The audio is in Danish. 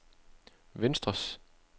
venstres